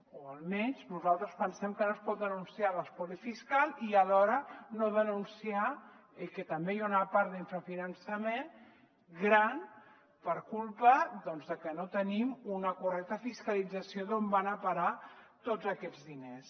o almenys nosaltres pensem que no es pot denunciar l’espoli fiscal i alhora no denunciar que també hi ha una part d’infrafinançament gran per culpa de que no tenim una correcta fiscalització d’on van a parar tots aquests diners